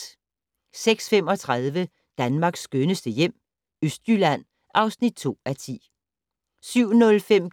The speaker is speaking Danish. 06:35: Danmarks skønneste hjem - Østjylland (2:10) 07:05: